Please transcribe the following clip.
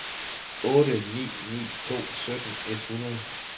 otte ni ni to sytten et hundrede